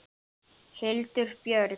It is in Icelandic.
Hildur Björg.